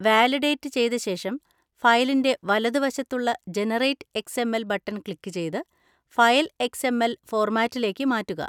Validate ചെയ്തശേഷം ഫയലിൻ്റെ വലതുവശത്തുള്ള 'generate X. M. L' button click ചെയ്ത് ഫയൽ എക്സ്. എം. എൽ ഫോർമാറ്റിലേക്ക് മാറ്റുക.